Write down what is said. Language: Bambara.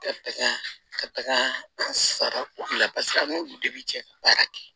Ka taga ka taga an sara ko la paseke an n'olu de bi cɛ ka baara kɛ